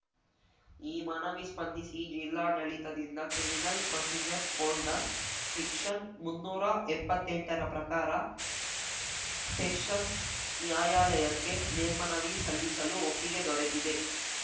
ಈ ಮನವಿ ಸ್ಪಂದಿಸಿ ಜಿಲ್ಲಾಡಳಿತದಿಂದ ಕ್ರಿಮಿನಲ್‌ ಪ್ರೊಸಿಜರ್‌ ಕೋಡ್‌ನ ಸೆಕ್ಷನ್‌ ಮುನ್ನೂರಾ ಎಪ್ಪತ್ತೆಂಟ ರ ಪ್ರಕಾರ ಸೆಷನ್ಸ್‌ ನ್ಯಾಯಾಲಯಕ್ಕೆ ಮೇಲ್ಮನವಿ ಸಲ್ಲಿಸಲು ಒಪ್ಪಿಗೆ ದೊರೆತಿದೆ